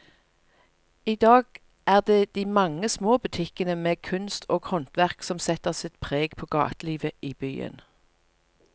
I dag er det de mange små butikkene med kunst og håndverk som setter sitt preg på gatelivet i byen.